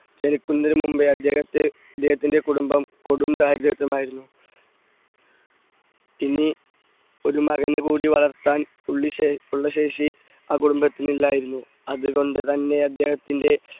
ജനിക്കുന്നതിനു മുമ്പേ അദ്ദേഹത്തെ അദ്ദേഹത്തിന്റെ കുടുംബം കൊടും ദാരിദ്ര്യം ആയിരുന്നു. ഇനി ഒരു മകനെ കൂടി വളർത്താൻ ഉള്ള ~ ഉള്ള ശേഷി ആ കുടുംബത്തിന് ഇല്ലായിരുന്നു, അതുകൊണ്ടുതന്നെ അദ്ദേഹത്തിന്റെ